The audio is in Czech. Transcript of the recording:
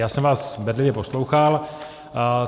Já jsem vás bedlivě poslouchal.